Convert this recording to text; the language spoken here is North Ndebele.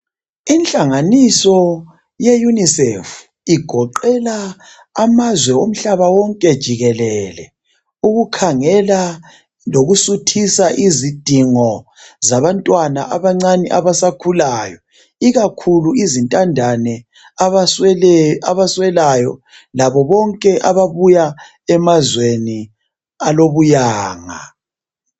Ihlanganiso ye unicef igoqela amazwe omhlaba wonke jikelele ukukhangela lokusuthisa izidingo zabantwana abancane abasakhulayo ikakhulu izintandane abaswelayo labo bonke ababuya emazweni alobuyanga.